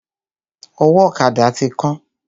Ọwọ́ ọ̀kada ti kán.